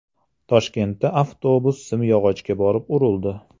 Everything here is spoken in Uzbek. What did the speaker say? Toshkentda avtobus simyog‘ochga borib urildi .